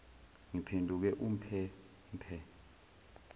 ngiphenduke umphe mphe